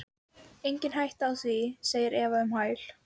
Engin hætta á því, segir Eva um hæl.